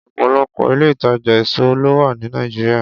Ọ̀pọ̀lọpọ̀ ilé-ìtàjà èso ló wà ní Nàìjíríà.